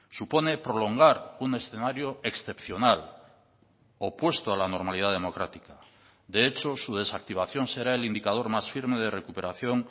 supone prolongar un escenario excepcional opuesto a la normalidad democrática de hecho su desactivación será el indicador más firme de recuperación